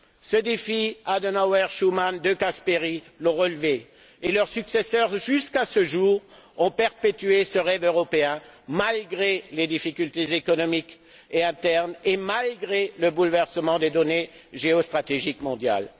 Ce défi, Adenauer, Schuman et De Gasperi l'ont relevé, et leurs successeurs, jusqu'à ce jour, ont perpétué ce rêve européen malgré les difficultés économiques et internes et malgré le bouleversement des données géostratégiques mondiales.